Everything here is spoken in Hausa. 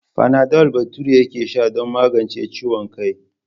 Fanadol Bature yake sha don magance ciwon kai.